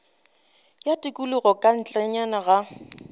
ya tikologo ka ntlenyana ga